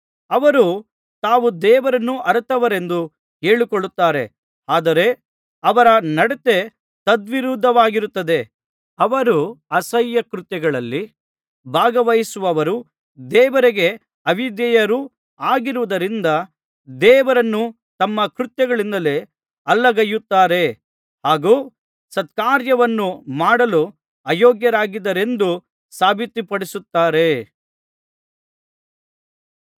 ಅವರು ತಾವು ದೇವರನ್ನು ಅರಿತವರೆಂದು ಹೇಳಿಕೊಳ್ಳುತ್ತಾರೆ ಆದರೆ ಅವರ ನಡತೆ ತದ್ವಿರುದ್ಧವಾಗಿರುತ್ತದೆ ಅವರು ಅಸಹ್ಯ ಕೃತ್ಯಗಳಲ್ಲಿ ಭಾಗವಹಿಸುವವರೂ ದೇವರಿಗೆ ಅವಿಧೇಯರೂ ಆಗಿರುವುದರಿಂದ ದೇವರನ್ನು ತಮ್ಮ ಕೃತ್ಯಗಳಿಂದಲೇ ಅಲ್ಲಗಳೆಯುತ್ತಾರೆ ಹಾಗು ಸತ್ಕಾರ್ಯವನ್ನು ಮಾಡಲು ಅಯೋಗ್ಯರಾಗಿದ್ದಾರೆಂದು ಸಾಬಿತುಪಡಿಸುತ್ತಾರೆ